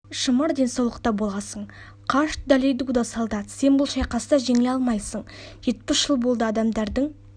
шымыр денсаулықта боласын қаш долидуда солдат сен бұл шайқаста жеңіле алмайсын жетпіс жыл болды адамдардың